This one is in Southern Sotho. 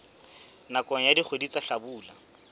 nakong ya dikgwedi tsa hlabula